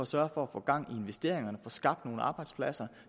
sørge for at få gang i investeringerne og få skabt nogle arbejdspladser